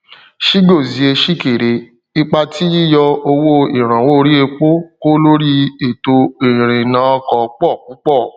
chigozie chikere ipá tí yíyọ owó ìrànwọ orí epo kó lóri ètò ìrìnnàọkọ pọ púpọ